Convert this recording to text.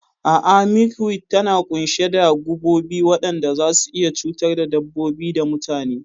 A'a, milkweed tana ƙunshe da gubobi waɗanda zasu iya cutar da dabbobi da mutane.